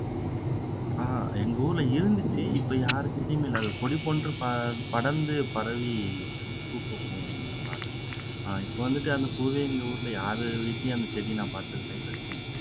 ஆஹ் எங்க ஊர்ல இருந்துச்சு இப்போ யார்கிடயுமே இல்ல அது கொடி போன்று ப படந்து பரவி பூ பூக்கும் பாரத் ஆஹ் இப்போ வந்துட்டு அந்த பூவே எங்க ஊர்ல யாரு வீட்லயும் அந்த செடியை நான் பாத்தது இல்ல இது வரைக்கும்